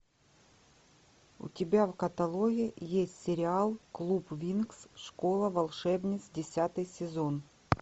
у тебя в каталоге есть сериал клуб винкс школа волшебниц десятый сезон